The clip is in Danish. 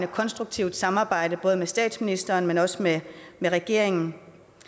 konstruktivt samarbejde både med statsministeren men også med regeringen